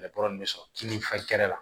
bɛ sɔrɔ kini kɛnɛ la